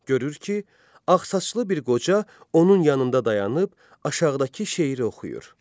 Görür ki, ağsaçlı bir qoca onun yanında dayanıb aşağıdakı şeiri oxuyur.